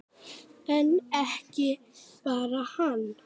En ekki bara hann.